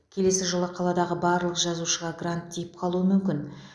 келесі жылы қаладағы барлық жазушыға грант тиіп қалуы мүмкін